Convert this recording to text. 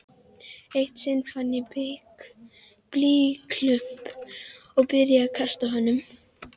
Eitt sinn fann ég blýklump og byrjaði að kasta honum.